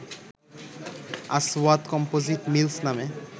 আসওয়াদ composite mills নামে